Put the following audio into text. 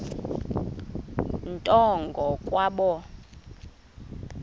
nto ngo kwabo